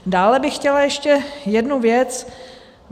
Dále bych chtěla ještě jednu věc.